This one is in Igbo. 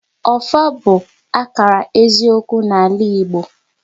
Ọfọ bụ akara eziokwu n'ala Igbo